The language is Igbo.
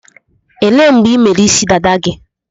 Elee mgbe ị mere isi dada gị?